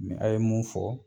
aw ye mun fɔ.